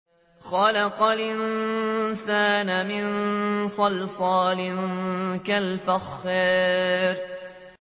خَلَقَ الْإِنسَانَ مِن صَلْصَالٍ كَالْفَخَّارِ